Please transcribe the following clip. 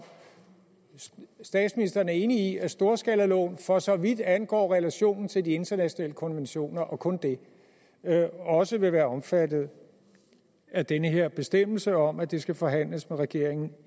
statsministeren er enig i at storskalaloven for så vidt angår relationen til de internationale konventioner og kun det også vil være omfattet af den her bestemmelse om at det skal forhandles med regeringen